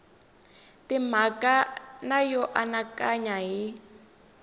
timhaka na yo anakanya hi